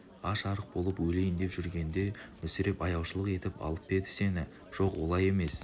аш-арық болып өлейін деп жүргенде мүсіреп аяушылық етіп алып па еді сені жоқ олай емес